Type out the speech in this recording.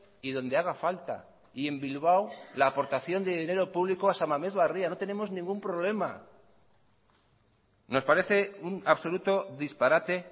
y donde haga falta y en bilbao la aportación de dinero público a san mamés barria no tenemos ningún problema nos parece un absoluto disparate